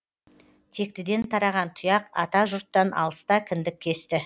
тектіден тараған тұяқ ата жұрттан алыста кіндік кесті